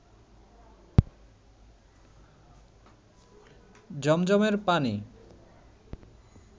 জমজমের পানি